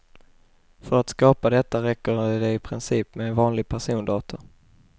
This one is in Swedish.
För att skapa detta räcker det i princip med en vanlig persondator.